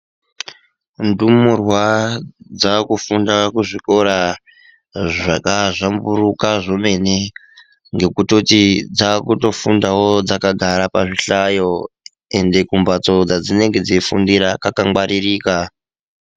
Ndumurwa dzakufunda kuzvikora zvaka zvamburuka zvemene ngokutoti dzakutofunda wo dzakagara pazvihlayo ende kumbatso kwadzinenge dzeifundira kwakangwaririka .